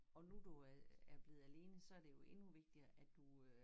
Og nu du øh er blevet alene så er det jo endnu vigtigere at du øh